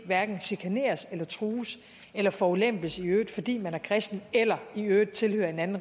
hverken chikaneres eller trues eller forulempes i øvrigt fordi man er kristen eller i øvrigt tilhører en anden